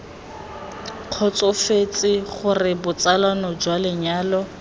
kgotsofetse gore botsalano jwa lenyalo